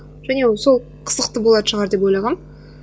және сол қызықты болатын шығар деп ойлағанмын